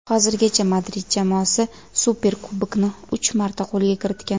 Hozirgacha Madrid jamoasi Superkubokni uch marta qo‘lga kiritgan.